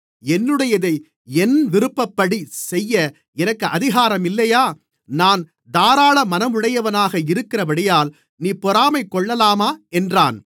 என்னுடையதை என் விருப்பப்படிச்செய்ய எனக்கு அதிகாரமில்லையா நான் தாராளமனமுடையனாக இருக்கிறபடியால் நீ பொறாமைகொள்ளலாமா என்றான்